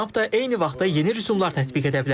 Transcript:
Tramp da eyni vaxtda yeni rüsumlar tətbiq edə bilər.